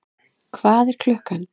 Hvað er klukkan?